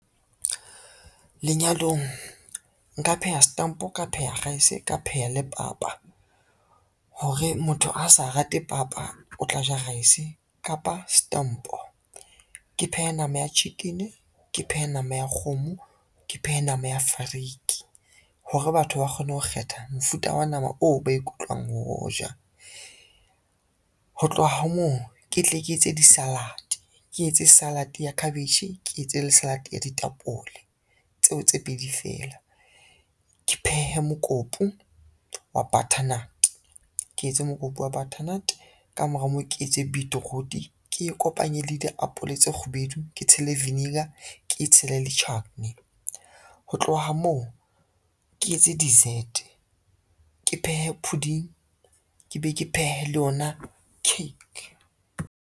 Lenyalong nka pheha setampo, ka pheha rice, ka pheha le papa, hore motho ha sa rate papa, o tla ja rese kapa setampo. Ke phehe nama ya chicken, ke phehe nama ya kgomo, ke phehe nama ya fariki, hore batho ba kgone ho kgetha mofuta wa nama oo ba ikutlwang ho o ja. Ho tloha moo ke tle ke etse di-salad, ke etse salad ya cabbage, ke etse le salad ya ditapole tseo tse pedi fela. Ke phehe mokopu wa butternut, ke etse mokopu wa butternut ka mora moo ke etse beetroot, ke e kopanye le diapole tse kgubedu, ke tshele viniger, ke tshele le chutney. Ho tloha moo ke etse dessert, ke phehe pudding, ke be ke phehe le yona cake.